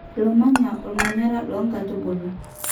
Lomanya omanyara lo nkatubulu.